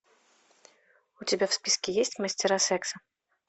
у тебя в списке есть мастера секса